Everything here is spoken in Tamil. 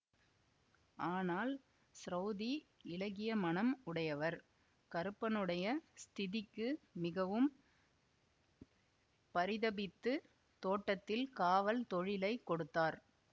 ஆனால் ஸ்ரௌதி இளகிய மனம் உடையவர் கருப்பனுடைய ஸ்திதிக்கு மிகவும் பரிதபித்து தோட்டத்தில் காவல் தொழிலைக் கொடுத்தார்